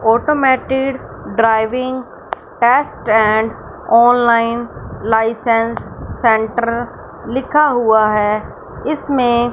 automated driving test and online licence centre लिखा हुआ है इसमें--